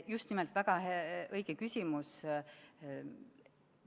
Just nimelt, väga õige küsimus!